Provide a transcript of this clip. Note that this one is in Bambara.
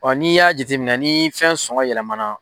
Ɔ' n' i y'a jateminɛ ni fɛn sɔngɔ yɛlɛmana.